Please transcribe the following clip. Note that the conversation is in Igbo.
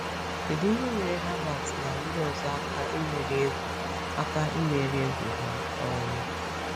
Kedu ihe nyere Herbert na ndị ọzọ aka imeri egwu aka imeri egwu ha? um